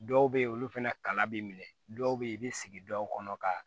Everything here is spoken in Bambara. Dɔw bɛ yen olu fana kala b'i minɛ dɔw bɛ yen i bɛ sigi dɔw kɔnɔ ka